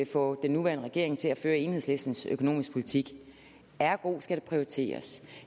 få den nuværende regering til at føre enhedslistens økonomiske politik ergo skal der prioriteres